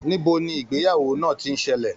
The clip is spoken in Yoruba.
Níbo ni ìgbéyàwó náà tí n ṣẹlẹ?